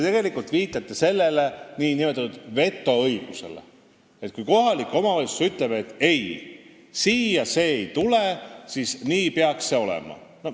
Te viitate nn vetoõigusele, et kui kohalik omavalitsus ütleb, et ei, siia see ei tule, siis nii peakski olema.